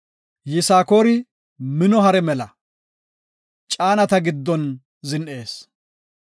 “Yisakoori mino hare mela, caanata giddon zin7ees.